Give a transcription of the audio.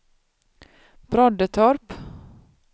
Broddetorp